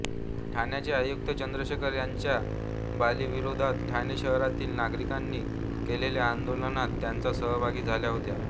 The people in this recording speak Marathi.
ठाण्याचे आयुक्त चंद्रशेखर यांच्या बदलीविरोधात ठाणे शहरातील नागरिकांनी केलेल्या आंदोलनात त्या सहभागी झाल्या होत्या